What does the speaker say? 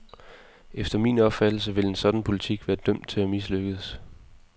Efter min opfattelse ville en sådan politik være dømt til at mislykkes.